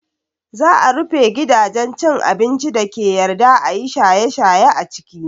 Za a rufe gidajen cin abincin dake yarda ayi shaye shaye a ciki